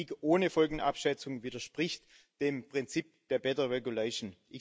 Politik ohne Folgenabschätzung widerspricht dem Prinzip der better regulation